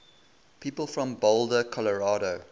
people from boulder colorado